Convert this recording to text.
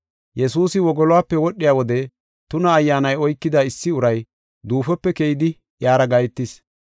Yesuusi wogoluwape wodhiya wode tuna ayyaanay oykida issi uray duufope keyidi iyara gahetis.